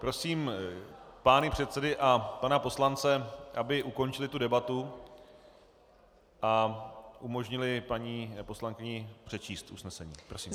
Prosím pány předsedy a pana poslance, aby ukončili tu debatu a umožnili paní poslankyni přečíst usnesení.